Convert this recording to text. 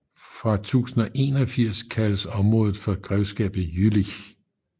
Fra 1081 kaldes området for Grevskabet Jülich